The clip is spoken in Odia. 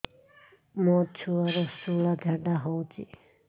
ମୋ ଛୁଆର ସୁଳା ଝାଡ଼ା ହଉଚି